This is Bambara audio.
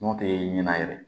N'o tɛ ɲɛna yɛrɛ